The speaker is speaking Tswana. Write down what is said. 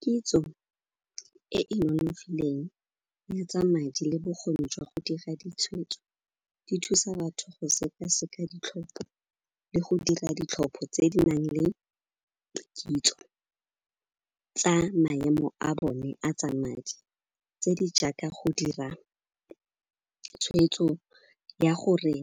Kitso e e nonofileng le tsa madi le bokgoni jwa go dira ditshweetso, di thusa batho go sekaseka ditlhopho le go dira ditlhopho tse di nang le kitso tsa maemo a bone a tsa madi tse di jaaka go dira tshweetso ya gore